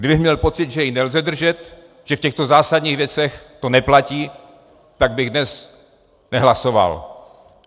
Kdybych měl pocit, že ji nelze držet, že v těchto zásadních věcech to neplatí, tak bych dnes nehlasoval.